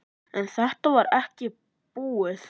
En þetta var ekki búið.